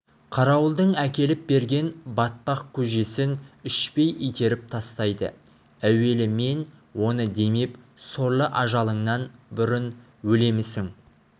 қарауылдың әкеліп берген батпақ көжесін ішпей итеріп тастайды әуелі мен оны демеп сорлы ажалыңнан бұрын өлемісің